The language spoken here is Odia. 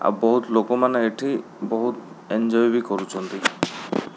ଆଉ ବୋହୁତ୍ ଲୋକମାନେ ଏଠି ବୋହୁତ୍ ଏଞ୍ଜୟେ ବି କରୁଛନ୍ତି।